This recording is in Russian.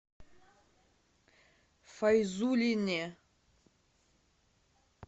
файзуллине